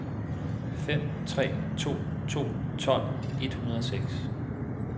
fem tre to to tolv et hundrede og seks